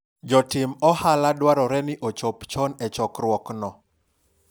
jotim ohala dwarore ni ochop chon e chokruok no